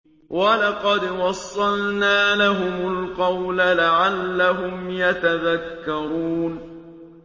۞ وَلَقَدْ وَصَّلْنَا لَهُمُ الْقَوْلَ لَعَلَّهُمْ يَتَذَكَّرُونَ